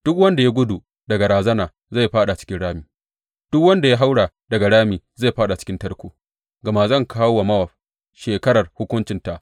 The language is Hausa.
Duk wanda ya gudu daga razana zai fāɗa cikin rami, duk wanda ya haura daga rami zai fāɗa cikin tarko; gama zan kawo wa Mowab shekarar hukuncinta,